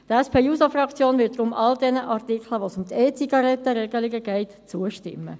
Die SP-JUSO-PSA-Fraktion wird deshalb all diesen Artikeln, bei denen es um E-Zigaretten-Regelungen geht, zustimmen.